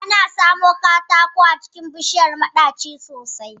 Ana samun katako a jikin bishiyar maɗaci sosai